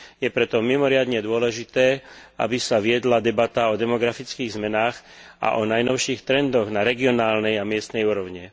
Je preto mimoriadne dôležité, aby sa viedla debata o demografických zmenách a o najnovších trendoch na regionálnej a miestnej úrovni.